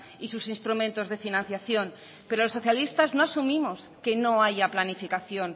y sus instrumentos de financiación pero los socialistas no asumimos que no haya planificación